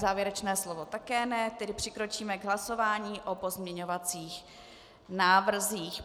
Závěrečné slovo také ne, tedy přikročíme k hlasování o pozměňovacích návrzích.